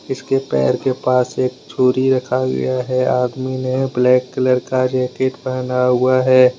इसके पैर के पास एक छूरी रखा गया है। आदमी ने ब्लैक कलर का जैकेट पहना हुआ है।